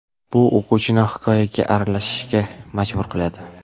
Bu o‘quvchini hikoyaga aralashishga majbur qiladi.